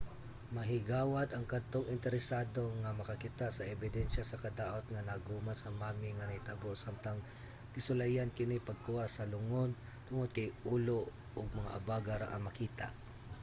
mahigawad ang kadtong interesado nga makakita sa ebidensiya sa kadaot nga naagoman sa mummy nga nahitabo samtang gisulayan kini pagkuha sa lungon tungod kay ulo ug mga abaga ra ang makita